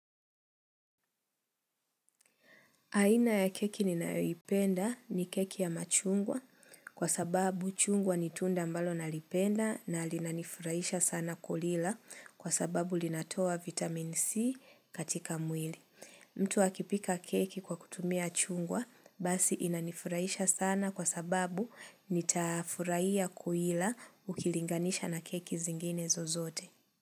Aina ya keki ninayoipenda ni keki ya machungwa kwa sababu chungwa ni tunda ambalo nalipenda na linanifurahisha sana kulila kwa sababu linatoa vitamin C katika mwili. Mtu akipika keki kwa kutumia chungwa basi inanifurahisha sana kwa sababu nitafurahia kuila ukilinganisha na keki zingine zozote.